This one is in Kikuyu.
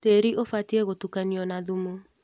Tĩrĩ ũbatie gũtukanio na thumu.